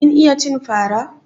Kin iya cin fara?